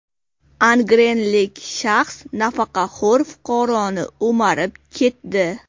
Angrenlik shaxs nafaqaxo‘r fuqaroni o‘marib ketdi.